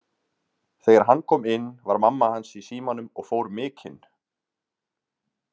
Þegar hann kom inn var mamma hans í símanum og fór mikinn.